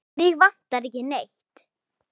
Mig vantar ekki neitt.